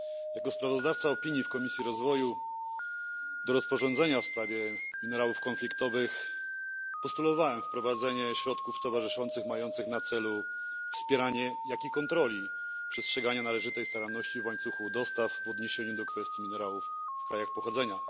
Jako sprawozdawca z ramienia Komisji Rozwoju opinii do rozporządzenia w sprawie minerałów konfliktowych postulowałem wprowadzenie środków towarzyszących mających na celu wspieranie i kontrolę przestrzegania należytej staranności w łańcuchu dostaw minerałów w krajach pochodzenia.